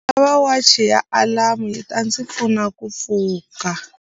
Ndzi lava wachi ya alamu yi ta ndzi pfuna ku pfuka.